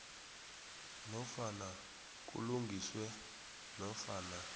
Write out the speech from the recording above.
nofana kulungiswe nofana